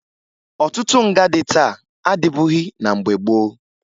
Ọtụtụ nga dị taa adịbughi na mgbe gboo